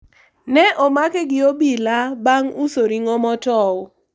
ne omake gi obila bang' uso ring'o motow